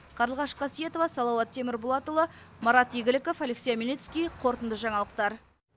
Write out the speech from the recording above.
қарлығаш қасиетова салауат темірболатұлы марат игіліков алексей омельницкий қорытынды жаңалықтар